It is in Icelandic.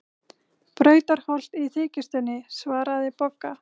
Brautarholt í þykjustunni, svaraði Bogga.